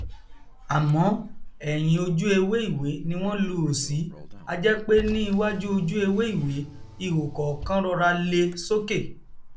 àmọ ẹhìn ojú ewé ìwé ni wọn luhò sí ajẹ pé ní iwájú ojú ewé ìwé ihò kọọkan rọra le sókè